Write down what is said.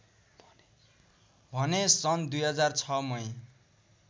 भने सन् २००६ मै